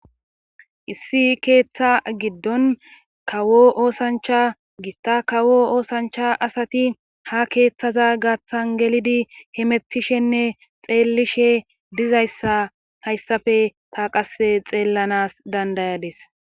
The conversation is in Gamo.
Issi keeththa giddon kawo oosancha gitta kawo oosancha asati ha keeththaza gaaththan gelidi hemettishenne xeellishe dizayssa hayssafe ta qasse xeellanas dandayades.